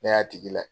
Ne y'a tigi layɛ